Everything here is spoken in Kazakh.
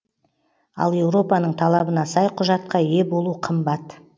ал еуропаның талабына сай құжатқа ие болу қымбат